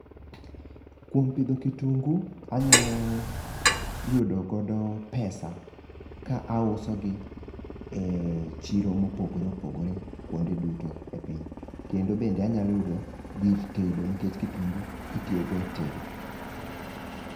Kuom pidho kitungu anyalo yudo godo pesa ka auso gi e chiro mopogore opogore kuonde duto e piny. Kendo bende anyalo yudo gir tedo nikech kitungu itiyo go e tedop.